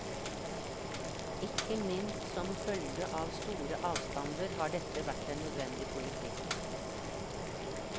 Ikke minst som følge av store avstander har dette vært en nødvendig politikk.